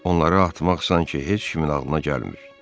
Onları atmaq sanki heç kimin ağlına gəlmir.